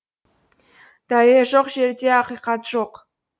дәлел жоқ жерде ақиқат жоқ